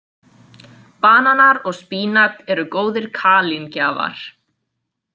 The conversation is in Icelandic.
Bananar og spínat eru góðir kalíngjafar.